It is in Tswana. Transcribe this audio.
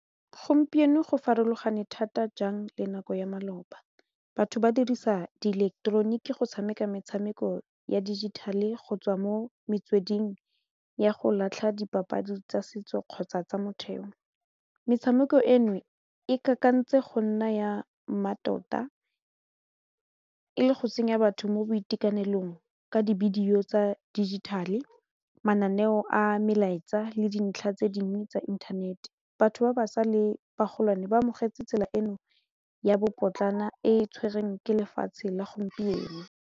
Gompieno go farologane thata jang le nako ya maloba batho ba dirisa di ileketeroniki go tshameka metshameko ya digital-e go tswa mo metsweding ya go latlha dipapadi tsa setso kgotsa tsa motheo metshameko eno e kakantse go nna ya mmatota e le go tsenya batho mo boitekanelong ka dibidio tsa digital-e mananeo a melaetsa le dintlha tse dingwe tsa inthanete batho ba ba sa le bagolwane bo amogetse tsela eno ya bobotlana e tshwereng ke lefatshe la gompieno.